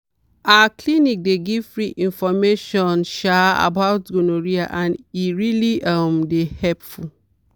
our clinic dey give free information um about gonorrhea and e really um dey helpful.